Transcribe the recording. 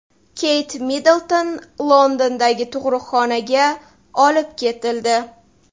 Keyt Middlton Londondagi tug‘uruqxonaga olib ketildi.